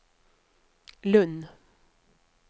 Lund